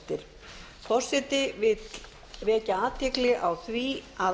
forseti vekur athygli á því að